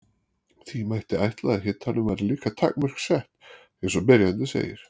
því mætti ætla að hitanum væri líka takmörk sett eins og spyrjandi segir